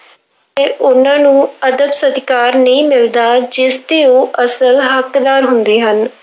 ਉਹਨਾਂ ਨੂੰ ਅਦਬ ਸਤਿਕਾਰ ਨਹੀਂ ਮਿਲਦਾ, ਜਿਸਦੇ ਉਹ ਅਸਲ ਹੱਕਦਾਰ ਹੁੰਦੇ ਹਨ।